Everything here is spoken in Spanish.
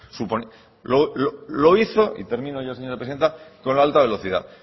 lo hizo y también hoy la señora presidenta con la alta velocidad